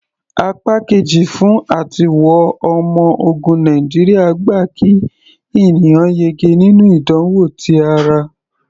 Apá Kejì fún àtiwọ ọmọ ogun Amẹ́ríkà gba kí ènìyàn yege nínú ìdánwò ti ara.